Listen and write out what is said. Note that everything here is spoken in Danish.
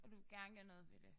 Og du vil gerne gøre noget ved det